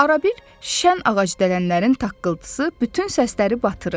Arabir şən ağacdələnlərin taqqıltısı bütün səsləri batırırdı.